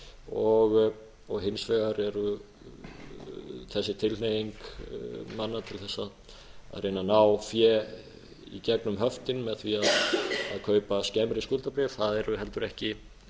kröfuhafanna og hins vegar er þessi tilhneiging manna til þess að reyna að ná fé í gegnum höftin með því að kaupa skemmri skuldabréf það eru heldur ekki